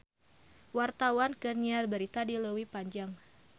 Wartawan keur nyiar berita di Leuwi Panjang